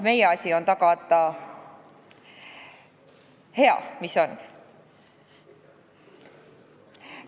Meie asi on tagada hea, mis on.